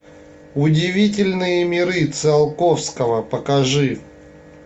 удивительные миры циолковского покажи